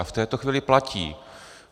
A v této chvíli platí.